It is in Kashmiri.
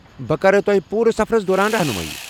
بہٕ کرو تۄہہِ پوٗرٕ سفرس دوران رحنٗمٲیی ۔